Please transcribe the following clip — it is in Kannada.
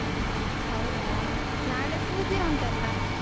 ಹೌದಾ ನಾಳೆ ಪೂಜೆ ಉಂಟಲ್ಲ.